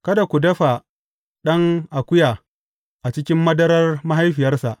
Kada ku dafa ɗan akuya a cikin madarar mahaifiyarsa.